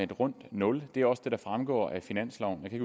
et rundt nul det er også det der fremgår af finansloven jeg kan